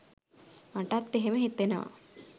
මටත් එහෙම හිතෙනවා